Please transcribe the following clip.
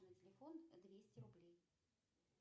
на телефон двести рублей